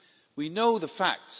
We know the facts.